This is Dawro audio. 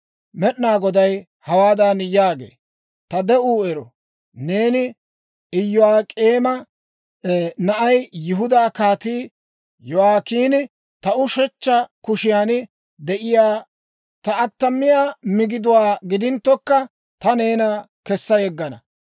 Med'inaa Goday hawaadan yaagee; «Ta de'uu ero! Neeni Iyo'ak'eema na'ay, Yihudaa Kaatii Yo'aakiini, ta ushechcha kushiyan de'iyaa ta attamiyaa migiduwaa gidinttokka ta neena kessa yeggana.